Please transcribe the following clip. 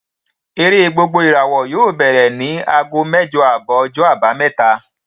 eré gbogboìràwọ yóò bẹrẹ ní ago mẹjọ abọ ọjọ àbámẹta